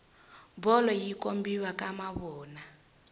bolo yi kombiwa ka mavona